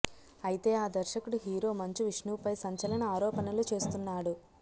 అయితే ఆ దర్శకుడు హీరో మంచు విష్ణు పై సంచలన ఆరోపణలు చేస్తున్నాడు